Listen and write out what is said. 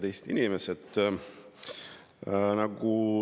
Head Eesti inimesed!